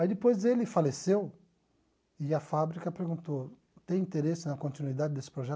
Aí, depois, ele faleceu e a fábrica perguntou, tem interesse na continuidade desse projeto?